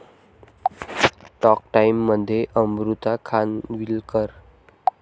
talk टाइममध्ये अमृता खानविलकर